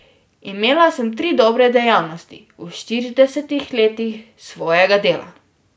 Imela sem tri dobre dejavnosti v štiridesetih letih svojega dela.